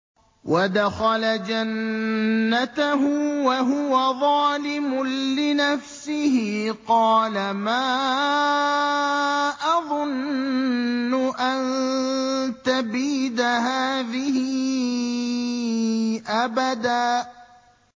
وَدَخَلَ جَنَّتَهُ وَهُوَ ظَالِمٌ لِّنَفْسِهِ قَالَ مَا أَظُنُّ أَن تَبِيدَ هَٰذِهِ أَبَدًا